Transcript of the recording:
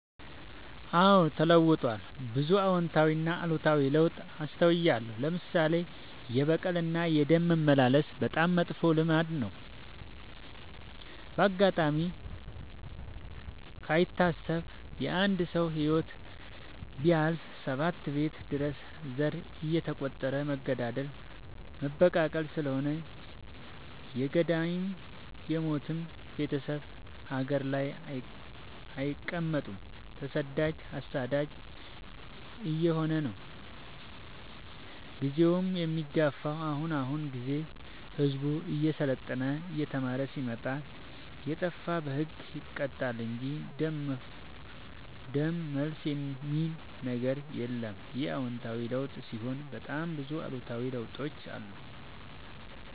አዎድ ተለውጧል ብዙ አዎታዊ እና አሉታዊ ለውጥ አስታውያለሁ። ለምሳሌ፦ የበቀል እና የደም መመላለስ በጣም መጥፎ ልማድ ነበረ። በአጋጣሚ ካይታሰብ የአንድ ሰው ህይወት ቢያልፍ ሰባት ቤት ድረስ ዘር እየተ ቆጠረ መገዳደል መበቃቀል ስለሆነ የገዳይም የሞችም ቤቴሰብ ሀገር ላይ አይቀ መጥም ተሰዳጅ አሳዳጅ አየሆነ ነው። ጊዜውን የሚገፋው። አሁን አሁን ግን ህዝቡ እየሰለጠና እየተማረ ስለመጣ። የጣፋ በህግ ይቀጣል እንጂ ደም መልስ የሚበል ነገር የለም ይህ አዎታዊ ለውጥ ሲሆን በጣም ብዙ አሉታዊ ለውጦችም አሉ።